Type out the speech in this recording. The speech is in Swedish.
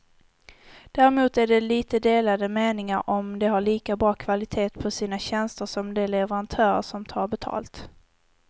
Däremot är det lite delade meningar om de har lika bra kvalitet på sina tjänster som de leverantörer som tar betalt.